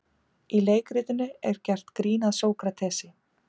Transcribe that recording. Í leikritinu er gert grín að Sókratesi.